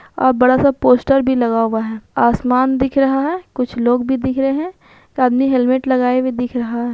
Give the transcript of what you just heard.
अ बड़ा सा पोस्टर भी लगा हुआ है आसमान दिख रहा है कुछ लोग भी दिख रहे है एक आदमी हेलमेट लगाए हुए दिख रहा--